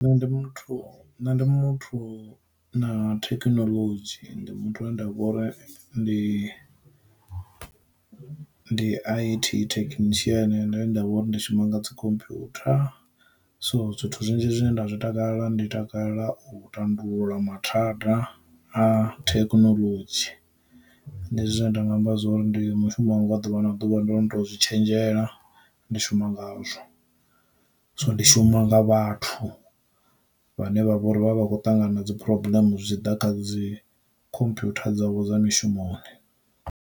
Ndi muthu nṋe ndi muthu na thekinoḽodzhi ndi muthu ane nda vhori ndi ndi I_T thekhinishiene nda ndavha uri ndi shuma nga dzi khomphutha. So zwithu zwinzhi zwine nda zwi takalela ndi takalela u tandulula mathada a thekinoḽodzhi. Ndi zwine nda nga amba zwori ndi mushumo wanga wa ḓuvha na ḓuvha ndo no to zwi tshenzhela ndi shuma ngazwo. So ndi shuma nga vhathu vhane vha vha uri vha vha vha khou ṱangana na dzi phuroblmu zwi tshi ḓa kha dzi khomphutha dzavho dza mishumoni.